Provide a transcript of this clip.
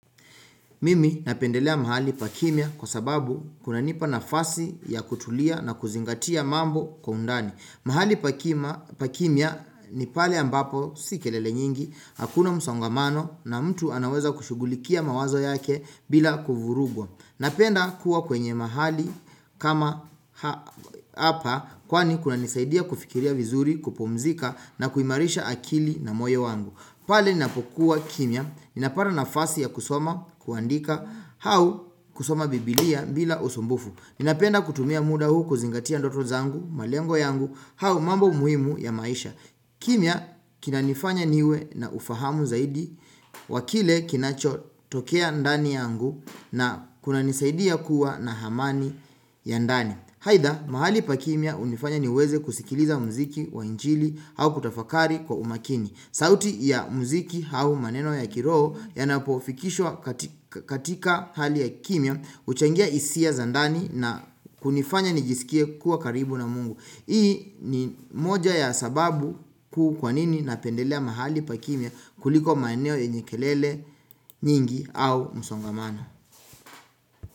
Mimi napendelea mahali pa kimya kwa sababu kunanipa nafasi ya kutulia na kuzingatia mambo kwa undani. Mahali pa kimya ni pale ambapo si kelele nyingi, hakuna msongamano na mtu anaweza kushughulikia mawazo yake bila kuvurugwa. Napenda kuwa kwenye mahali kama hapa kwani kunanisaidia kufikiria vizuri kupumzika na kuimarisha akili na moyo wangu. Pale ninapokuwa kimya, ninapata nafasi ya kusoma, kuandika au kusoma biblia bila usumbufu. Ninapenda kutumia muda huu kuzingatia ndoto zangu, malengo yangu au mambo muhimu ya maisha kimya kinanifanya niwe na ufahamu zaidi, wa kile kinachotokea ndani yangu na kunanisaidia kuwa na amani ya ndani, aidha mahali pa kimya hunifanya niweze kusikiliza mziki wa injili au kutafakari kwa umakini sauti ya mziki au maneno ya kiroho yanapofikishwa katika katika hali ya kimya huchangia hisia za ndani na kunifanya nijisikie kuwa karibu na mungu. Hii ni moja ya sababu kuu kwa nini napendelea mahali pa kimya kuliko maneno yenye kelele nyingi au msongamano.